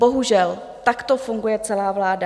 Bohužel, takto funguje celá vláda.